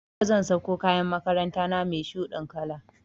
Yau zan sako kayan makaranta na mai shuɗin kala